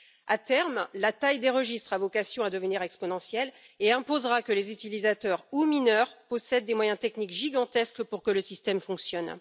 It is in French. À terme, la taille des registres a vocation à devenir exponentielle et imposera que les utilisateurs, ou mineurs, possèdent des moyens techniques gigantesques pour que le système fonctionne.